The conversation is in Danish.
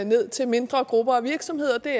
ned til mindre grupper af virksomheder og det